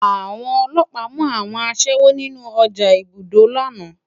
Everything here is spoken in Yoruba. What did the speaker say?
Awòn òlòpá mú áwòn aṣèwó ninú òjá ipódó làná